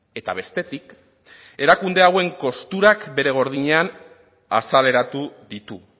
eta bestetik erakunde hauen kosturak bere gordinean azaleratu ditu